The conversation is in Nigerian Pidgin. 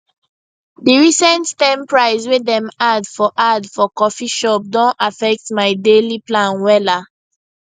di recent ten price way dem add for add for coffee shop don affect my daily plan wella